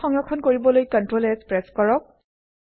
file সংৰক্ষণ কৰিবলৈ CtrlS press কৰক